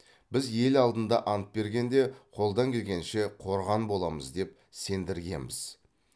біз ел алдында ант бергенде қолдан келгенше қорған боламыз деп сендіргенбіз